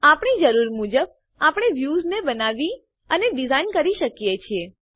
આપણી જરૂર મુજબ આપણે વ્યુંસને બનાવી અને ડીઝાઇન કરી શકીએ છીએ